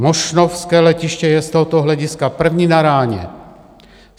Mošnovské letiště je z tohoto hlediska první na ráně.